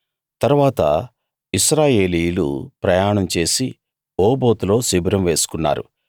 తరువాత ఇశ్రాయేలీయులు ప్రయాణం చేసి ఓబోతులో శిబిరం వేసుకున్నారు